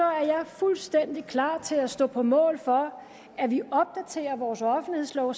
jeg fuldstændig klar til at stå på mål for at vi opdaterer vores offentlighedslov